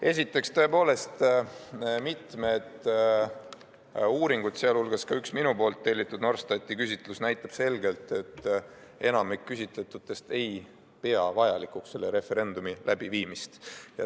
Esiteks, tõepoolest mitmed uuringud, sealhulgas üks minu tellitud Norstati küsitlus, näitavad selgelt, et enamik küsitletutest ei pea vajalikuks selle referendumi läbiviimist.